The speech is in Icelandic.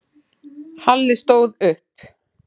Halli stóð upp.